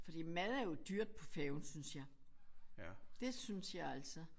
Fordi mad er jo dyrt på færgen synes jeg. Det synes jeg altså